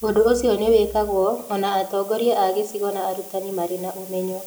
Ũndũ ũcio no wĩkagwo o na atongoria a gĩcigo na arutani marĩ na ũmenyo.